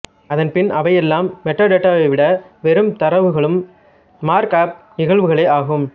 அதன்பின் அவையெல்லாம் மெட்டாடேட்டாவைவிட வெறும் தரவுகளும் மார்க்அப் நிகழ்வுகளே ஆகும்